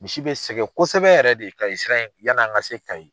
Misi be sɛngɛ kosɛbɛ yɛrɛ de kayi sira in, yani an ka se kayi .